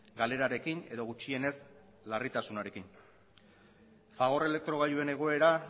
galerarekin edo gutxienez larritasunarekin fagor elektrogailuen egoera